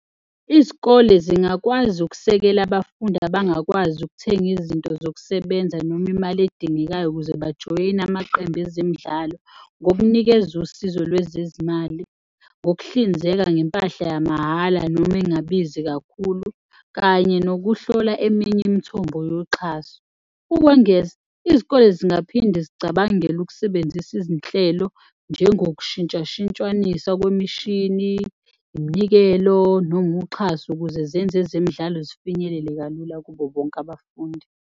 Izikole zingakwazi ukusekela abafundi abangakwazi ukuthenga izinto zokusebenza noma imali edingekayo ukuze bajoyine amaqembu ezemidlalo ngokunikeza usizo lwezezimali ngokuhlinzeka ngempahla yamahhala noma engabizi kakhulu kanye nokuhlola eminye imithombo yoxhaso. Ukwengeza, izikole zingaphinde zicabangele ukusebenzisa izinhlelo njengokushintshashintshaniswa kwemishini, iminikelo noma uxhaso ukuze zenze ezemidlalo zifinyelele kalula kubo bonke abafundi.